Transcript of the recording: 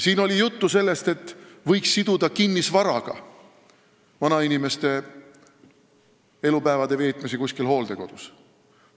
Siin oli juttu sellest, et vanainimeste võimaluse veeta oma elupäevi hooldekodus võiks siduda kinnisvaraga.